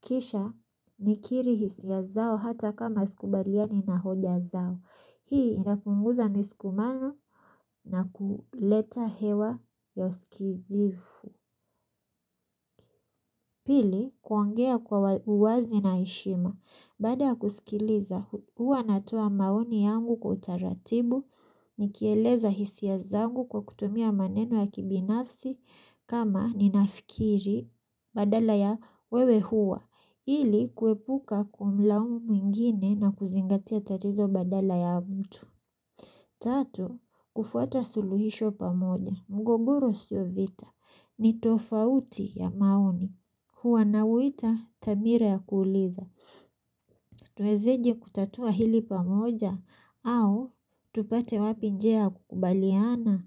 Kisha nikili hisia zao hata kama sikubaliani na hoja zao. Hii inapunguza misukumano na kuleta hewa ya uskizifu. Pili, kuongea kwa uwazi na heshima. Baada ya kusikiliza hua natoa maoni yangu kwa utaratibu. Nikieleza hisia zangu kwa kutumia maneno ya kibinafsi kama ninafikiri badala ya wewe huwa. Ili kuepuka kumlaumu mwingine na kuzingatia tatizo badala ya mtu Tatu, kufuata suluhisho pamoja, mgogoro sio vita ni tofauti ya maoni. Huwa nauita thamira ya kuuliza Tuwezeje kutatua hili pamoja au tupate wapi njia ya kukubaliana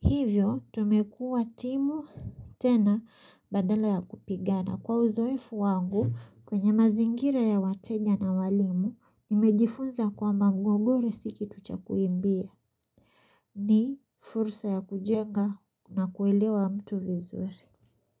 Hivyo, tumekuwa timu tena badala ya kupigana. Kwa uzoefu wangu kwenye mazingira ya wateja na walimu nimejifunza kwamba mgogoro si kitu cha kuimbia ni fursa ya kujenga na kuelewa mtu vizuri.